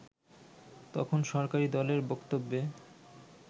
তখন সরকারি দলের বক্তব্যে